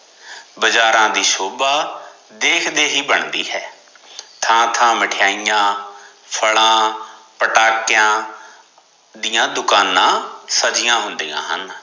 ਬਾਜ਼ਾਰਾ ਦੀ ਸ਼ੋਬਾ ਦੇਖਦੇ ਹੀ ਬਣਦੀ ਹੈ, ਥਾਂ ਥਾਂ ਮਿਠਾਈਆਂ, ਫਲਾਂ, ਪਟਾਕਿਆ ਦੀਆ ਦੁਕਾਨਾ ਸਜੀਆਂ ਹੁੰਦਿਆ ਹਨ